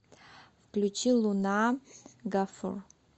включи луна гафур